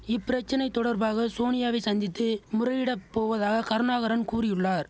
இப்பிரச்சனை தொடர்பாக சோனியாவை சந்தித்து முறையிடப் போவதாக கருணாகரன் கூறியுள்ளார்